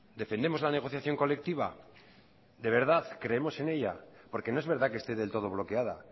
defendemos la negociación colectiva de verdad creemos en ella porque no es verdad que esté del todo bloqueada